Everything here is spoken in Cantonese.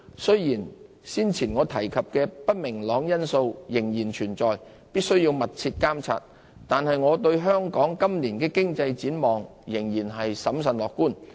雖然先前我提及的不明朗因素仍然存在，必須密切監察，但我對香港今年的經濟展望仍然審慎樂觀。